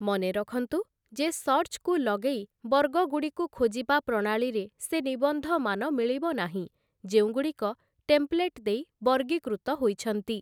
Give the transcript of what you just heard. ମନେରଖନ୍ତୁ, ଯେ 'ସର୍ଚ'କୁ ଲଗେଇ ବର୍ଗଗୁଡ଼ିକୁ ଖୋଜିବା ପ୍ରଣାଳୀରେ ସେ ନିବନ୍ଧମାନ ମିଳିବ ନାହିଁ, ଯେଉଁଗୁଡ଼ିକ ଟେମ୍ପ୍ଳେଟ୍ ଦେଇ ବର୍ଗୀକୃତ ହୋଇଛନ୍ତି ।